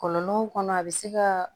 Kɔlɔlɔw kɔnɔ a bɛ se ka